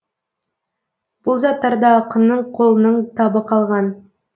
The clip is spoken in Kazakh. бұл заттарда ақынның қолының табы қалған